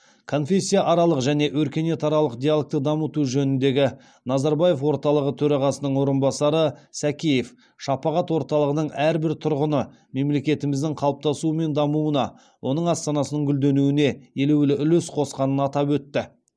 конфессияаралық және өркениетаралық диалогты дамыту жөніндегі назарбаев орталығы төрағасының орынбасары сәкеев шапағат орталығының әрбір тұрғыны мемлекетіміздің қалыптасуы мен дамуына оның астанасының гүлденуіне елеулі үлес қосқанын атап өтті